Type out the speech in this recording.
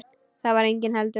Þar var enginn heldur.